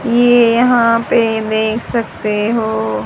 ये यहां पे देख सकते हो।